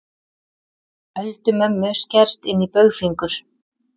Öldu mömmu skerst inní baugfingur.